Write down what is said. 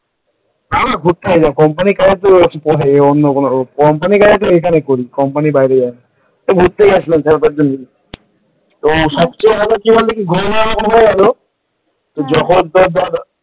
হ্যাঁ ঘুরতে গেছিলাম company company কাজ তো এখানেই করি company র বাইরে যায় না এই ঘুরতে গেছিলাম চার পাঁচ জন মিলে সবচেয়ে ভালো কি বল দেখি, ঘুরে বেড়ানো হয়ে গেল যখন তোর ধর,